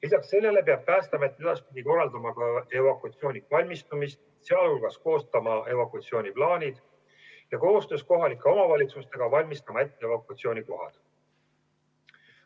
Lisaks sellele peab Päästeamet edaspidi korraldama ka evakuatsiooniks valmistumist, sealhulgas koostama evakuatsiooniplaanid, ja koostöös kohalike omavalitsustega valmistama ette evakuatsiooni kohad.